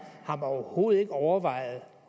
har man overhovedet ikke overvejet